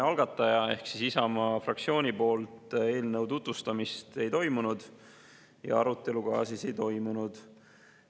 Algataja ehk Isamaa fraktsiooni poolt eelnõu tutvustamist ei toimunud ja arutelu ka ei toimunud.